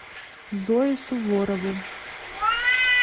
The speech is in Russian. зою суворову